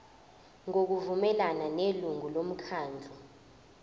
ngokuvumelana nelungu lomkhandlu